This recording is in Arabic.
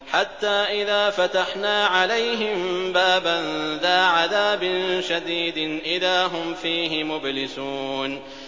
حَتَّىٰ إِذَا فَتَحْنَا عَلَيْهِم بَابًا ذَا عَذَابٍ شَدِيدٍ إِذَا هُمْ فِيهِ مُبْلِسُونَ